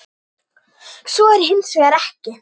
Svo er hins vegar ekki.